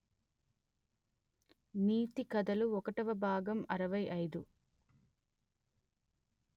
నీతి కథలు ఒకటవ భాగం అరవై అయిదు